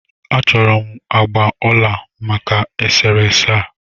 A chọrọ m agbà ọla maka e sere ese a.